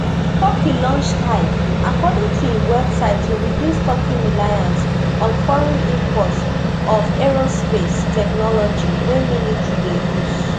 turkey launch tai according to im website to reduce turkey reliance on foreign import of aerospace technology wey military dey use